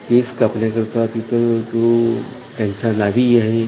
केस कापण्याकरता तिथं तो त्यांच्या नावी आहे.